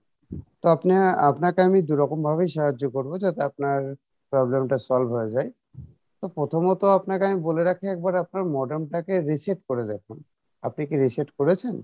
তো আপনা~আপনাকে আমি দুরকম ভাবেই সাহায্য করবো যাতে আপনার problem টা solve হয়ে যাই তো প্রথমত আপনাকে আমি বলে রাখি একবার আপনার modem টাকে reset করে দেখুন, আপনি কী reset করেছেন?